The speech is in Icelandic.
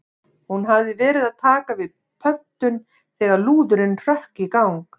Hún hafði verið að taka við pöntun þegar lúðurinn hrökk í gang.